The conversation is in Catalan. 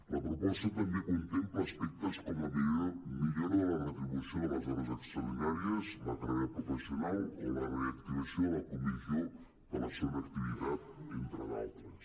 la proposta també contempla aspectes com la millora de la retribució de les ho·res extraordinàries la carrera professional o la reactivació de la comissió de la se·gona activitat entre d’altres